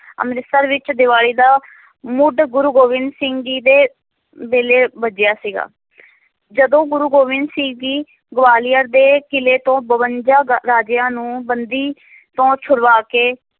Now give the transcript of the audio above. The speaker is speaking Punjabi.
ਅੰਮ੍ਰਿਤਸਰ ਵਿੱਚ ਦੀਵਾਲੀ ਦਾ ਮੁੱਢ ਗੁਰੂ ਗੋਬਿੰਦ ਸਿੰਘ ਜੀ ਦੇ ਵੇਲੇ ਬੱਝਿਆ ਸੀਗਾ ਜਦੋਂ ਗੁਰੂ ਗੋਬਿੰਦ ਸਿੰਘ ਜੀ ਗਵਾਲੀਅਰ ਦੇ ਕਿਲ੍ਹੇ ਤੋਂ ਬਵੰਜਾ ਗਾ ਰਾਜਿਆਂ ਨੂੰ, ਬੰਦੀ ਤੋਂ ਛੁਡਵਾ ਕੇ